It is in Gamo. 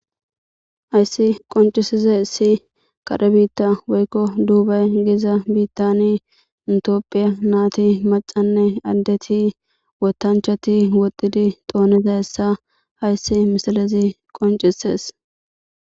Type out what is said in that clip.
Hayssi qoncisize issi kare biitta woykko duubay giza biittani intiophiya naati macanne addeti wotanchati woxidi tooneta hessa hayssi misalezi qoncisees.